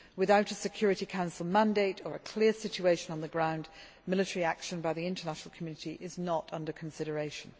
Without a Security Council mandate or a clear situation on the ground, military action by the international community is not under consideration.